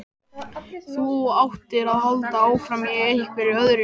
Þú áttir að halda áfram, í einhverjum öðrum.